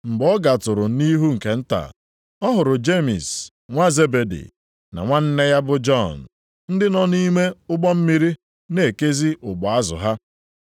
Mgbe ọ gatụrụ nʼihu nke nta, ọ hụrụ Jemis nwa Zebedi na nwanne ya bụ Jọn ndị nọ nʼime ụgbọ mmiri, na-ekezi ụgbụ azụ ha.